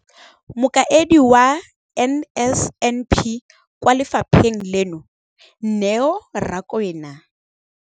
Mokaedi wa NSNP kwa lefapheng leno, Neo Rakwena,